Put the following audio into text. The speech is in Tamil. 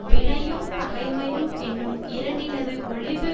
வினையும் பகைமையு மென்னும் இரண்டினது ஒழிபு